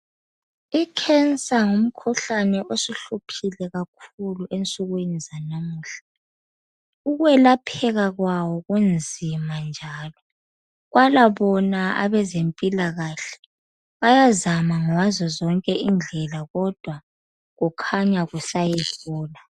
Ikhensa ngumkhuhlane osuhluphule kakhulu ensukwini zanamuhla. Ukwelapheka kwawo kunzima njalo. Kwala bona abazemphilakahle bayazama ngazo zonke indlela kodwa kukhanya kusayehlula.